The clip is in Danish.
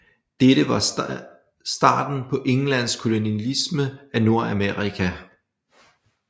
Dette var starten på Englands kolonialisme af Nordamerika